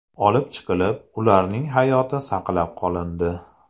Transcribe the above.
olib chiqilib, ularning hayoti saqlab qolindi.